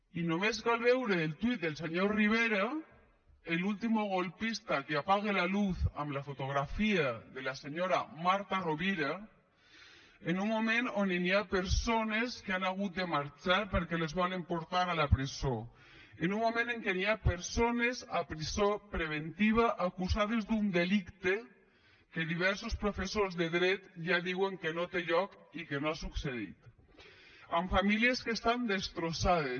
i només cal veure el tuit del senyor rivera el último golpista que apague la luz amb la fotografia de la senyora marta rovira en un moment on hi ha persones que han hagut de marxar perquè les volen portar a la presó en un moment en què hi ha persones a presó preventiva acusades d’un delicte que diversos professors de dret ja diuen que no té lloc i que no ha succeït amb famílies que estan destrossades